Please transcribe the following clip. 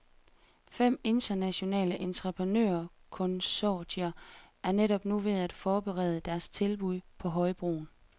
Fem internationale entreprenørkonsortier er netop nu ved at forberede deres tilbud på højbroen.